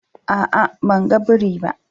A'a, ban gan biri ba.